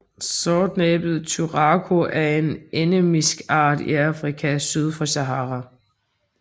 Sortnæbbet turako er en endemisk art i Afrika syd for Sahara